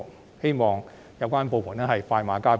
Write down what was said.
我希望有關部門可以快馬加鞭。